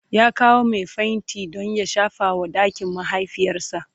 ya kawo Mai fenti Dan ya shafa wa ɗakin mahaifiyarsa